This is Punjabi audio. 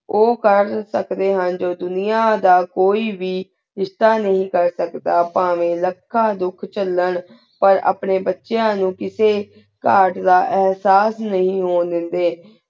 ਉਓ ਕਰ ਸਕਦੀ ਹੁਣ ਜੋ ਦੁਨੀਆ ਦਾ ਕੋਈ ਵੇ ਰ੍ਸ਼੍ਤਾ ਨਹੀ ਕਰ ਸਕਦਾ ਪਾਵ੍ਯਨ ਲਖਾਂ ਧੁਖ ਚਾਲੇੰ ਪਰ ਅਪਨ੍ਯਨ ਬੇਚ੍ਯਾਂ ਨੂ ਕਿਸੀ ਕਤ ਦਾ ਏਹਸਾਸ ਨੀ ਹੁਣ ਦੇਂਦੀ